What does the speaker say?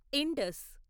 Indus